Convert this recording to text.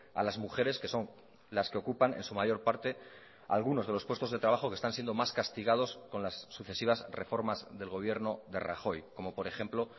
a las mujeres que son las que ocupan en su mayor parte algunos de los puestos de trabajo que están siendo más castigados con las sucesivas reformas del gobierno de rajoy como por ejemplo